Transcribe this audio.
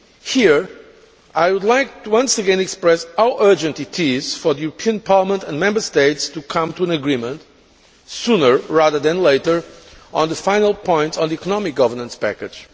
Here, I would like to once again express how urgent it is for the European Parliament and Member States to come to an agreement sooner rather than later on the final points on the economic governance package.